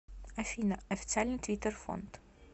афина официальный твиттер фонд